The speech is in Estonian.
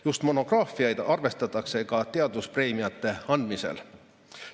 Just monograafiaid arvestatakse ka teaduspreemiate andmisel.